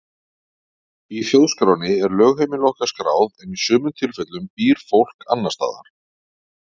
Í þjóðskránni er lögheimili okkar skráð en í sumum tilfellum býr fólk annars staðar.